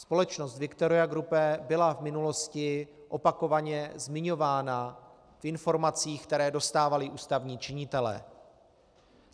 Společnost Victoria Group byla v minulosti opakovaně zmiňována v informacích, které dostávali ústavní činitelé.